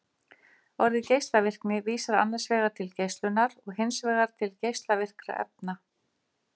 orðið geislavirkni vísar annars vegar til geislunar og hins vegar til geislavirkra efna